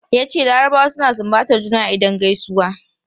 Yace larabawa suna sumbatar juna idan gaisuwa.